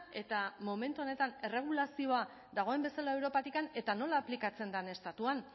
eta momentu honetan erregulazioa dagoen bezala europatik eta nola aplikatzen den estatuan